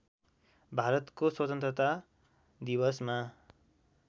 भारतको स्वतन्त्रता दिवसमा